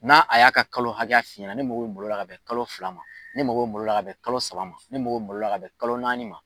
N'a a ya ka kalo hakɛ f'i ɲɛna . Ne mako be malo la ka bɛn kalo fila ma. Ne mako be malo la ka bɛn kalo saba ma. Ne mako be malo la ka bɛn kalo naani ma.